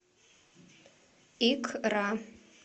икра